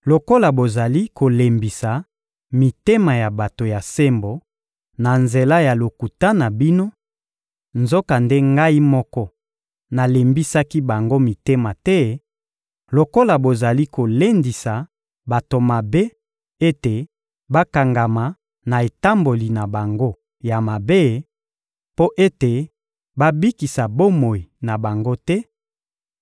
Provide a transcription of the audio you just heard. Lokola bozali kolembisa mitema ya bato ya sembo na nzela ya lokuta na bino, nzokande Ngai moko nalembisaki bango mitema te; lokola bozali kolendisa bato mabe ete bakangama na etamboli na bango ya mabe mpo ete babikisa bomoi na bango te,